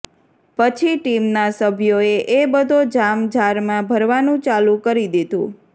પછી ટીમના સભ્યોએ એ બધો જામ જારમાં ભરવાનું ચાલુ કરી દીધું